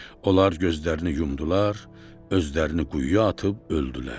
Onlar gözlərini yumdular, özlərini quyuya atıb öldülər.